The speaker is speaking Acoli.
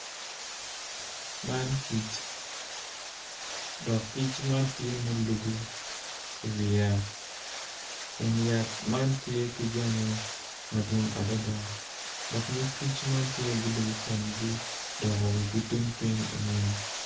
Man kic obuto piny kun puc man kala kome tye macol nicuc kun opero ite tye ka winyo jami. Puc man bene tye odwoko wigi tung piny i ngom.